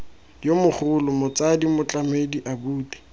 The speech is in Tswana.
yo mogolo motsadi motlamedi abuti